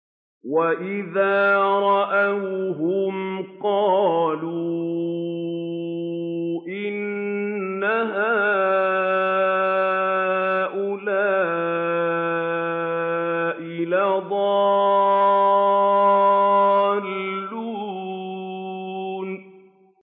وَإِذَا رَأَوْهُمْ قَالُوا إِنَّ هَٰؤُلَاءِ لَضَالُّونَ